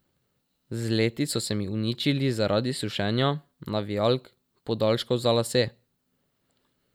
Z leti so se mi uničili zaradi sušenja, navijalk, podaljškov za lase.